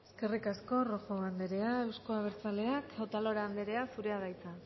eskerrik asko rojo anderea euzko abertzaleak otalora anderea zurea da hitza